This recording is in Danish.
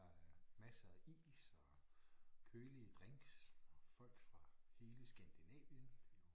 Der er masser af is og kølige drinks folk fra hele Skandinavien